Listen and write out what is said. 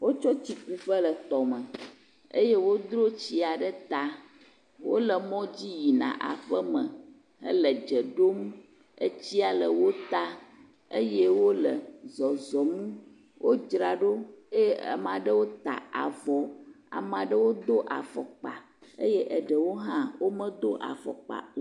Wotso tsi ku ƒe le tɔme eye wodro tsia ɖe ta. Wole mɔ dzi yina aƒeme hele dze ɖom. Etsia le wo ta eye wole zɔzɔm. Wodzra ɖo eye ame aɖewo ta avɔ. Ame ɖewo do afɔkpa eye eɖewo hã womedo afɔkpa o.